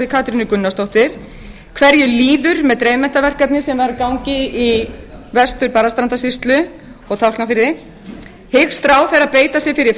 katrínu gunnarsdóttur fyrstu hvernig tókst til með dreifmenntaverkefni í grunnskólum vestur barðastrandarsýslu sem lauk árið tvö þúsund og sex og hver er staða verkefnisins nú annars hyggst ráðherra beita sér fyrir